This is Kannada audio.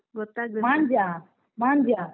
ಮಾಂಜಿಯಾ ಮಾಂಜಿಯಾ?